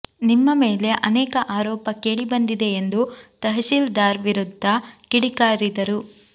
ನಿಮ್ಮ ಮೇಲೆ ಆನೇಕ ಆರೋಪ ಕೇಳಿ ಬಂದಿದೆ ಎಂದು ತಹಶೀಲ್ದಾರ್ ವಿರುದ್ದ ಕಿಡಿಕಾರಿದರು